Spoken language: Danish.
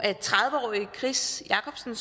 tredive årige chris jakobsen